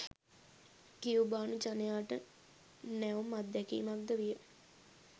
කියුබානු ජනයාට නැවුම් අත්දැකීමක් ද විය.